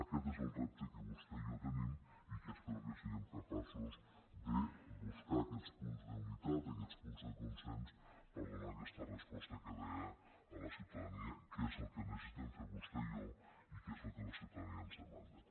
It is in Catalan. aquest és el repte que vostè i jo tenim i espero que siguem capaços de buscar aquests punts d’unitat aquests punts de con·sens per a donar aquesta resposta que deia a la ciuta·dania que és el que necessitem fer vostè i jo i que és el que la ciutadania ens demanda